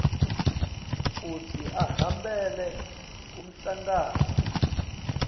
kutsi ahambele umhlangano